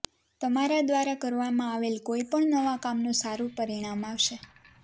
તમારા દ્વારા કરવામાં આવેલ કોઈપણ નવા કામનું સારું પરિણામ આવશે